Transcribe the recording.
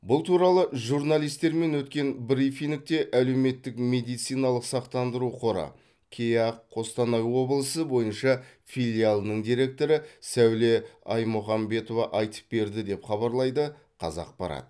бұл туралы журналистермен өткен брифингте әлеуметтік медициналық сақтандыру қоры кеақ қостанай облысы бойынша филиалының директоры сәуле аймұхамбетова айтып берді деп хабарлайды қазақпарат